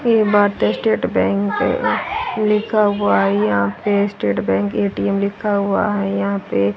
ये भारतीय state bank है लिखा हुआ है यहां पे स्टेट बैंक ए_टी_एम लिखा हुआ है यहां पे।